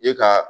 E ka